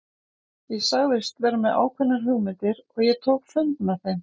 Ég sagðist vera með ákveðnar hugmyndir og ég tók fund með þeim.